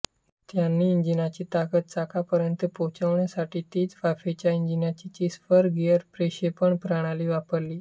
त्यांनी इंजिनाची ताकत चाकांपर्यंत पोचण्यासाठी तीचवाफेच्या इंजिनाचीस्पर गिअर प्रक्षेपण प्रणाली वापरली